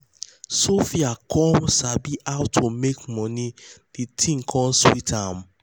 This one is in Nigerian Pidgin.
sophia come um sabi how um to make money de thing come sweet am.